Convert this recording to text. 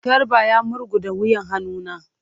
Garba ya murguda wuyan hannu na.